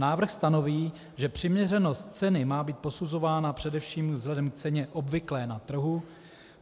Návrh stanoví, že přiměřenost ceny má být posuzována především vzhledem k ceně obvyklé na trhu.